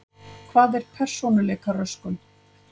Hvað er persónuleikaröskun?